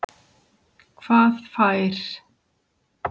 Hvað fær